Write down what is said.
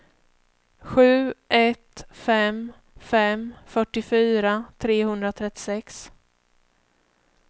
sju ett fem fem fyrtiofyra trehundratrettiosex